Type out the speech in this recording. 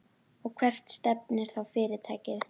Og hvert stefnir þá fyrirtækið?